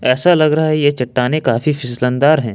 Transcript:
ऐसा लग रहा है ये चट्टानें काफी फिसलनदार है।